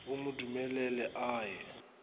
o mo dumelele a ye